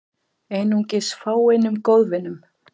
Einungis fáeinum góðvinum